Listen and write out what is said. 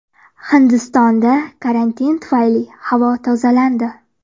Hindistonda karantin tufayli havo tozalandi.